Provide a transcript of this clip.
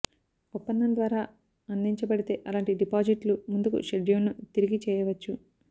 ఒప్పందం ద్వారా అందించబడితే అలాంటి డిపాజిట్లు ముందుకు షెడ్యూల్ను తిరిగి చేయవచ్చు